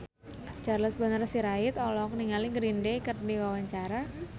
Charles Bonar Sirait olohok ningali Green Day keur diwawancara